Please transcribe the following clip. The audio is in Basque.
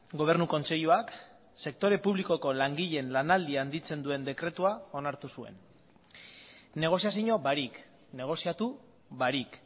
gobernu kontseiluak sektore publikoko langileen lanaldia handitzen duen dekretua onartu zuen negoziazio barik negoziatu barik